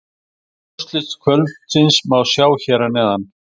Öll úrslit kvöldsins má sjá hér að neðan